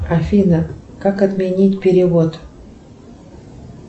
афина как отменить перевод